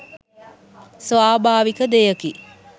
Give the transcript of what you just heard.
ස්වභාවික දෙයකි.